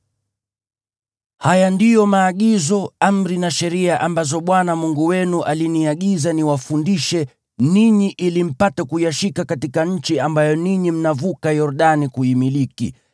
Haya ndiyo maagizo, amri na sheria ambazo Bwana Mungu wenu aliniagiza niwafundishe ninyi ili mpate kuyashika katika nchi ambayo ninyi mnavuka Yordani kuimiliki,